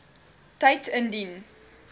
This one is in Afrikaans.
tyd indien